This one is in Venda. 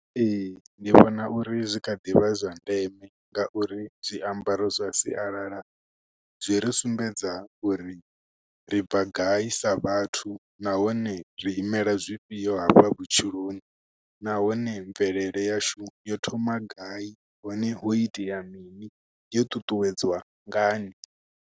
Ee, ndi vhona uri zwi kha ḓivha zwa ndeme, nga uri zwiambaro zwa sialala zwi ri sumbedza uri, ri bva gai sa vhathu. Nahone ri imela zwifhio hafha vhutshiloni, nahone mvelele yashu yo thoma gai, hone ho itea mini, yo ṱuṱuwedzwa ngani.